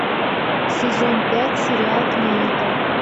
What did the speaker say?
сезон пять сериал клиника